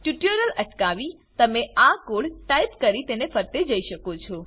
tutorial અટકાવી તમે આ કોડ ટાઈપ કરી તેને ફરતે જઈ શકો છો